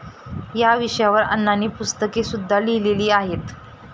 या विषयावर अण्णांनी पुस्तकेसुद्धा लिहिलेली आहेत.